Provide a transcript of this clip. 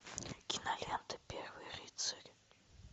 кинолента первый рыцарь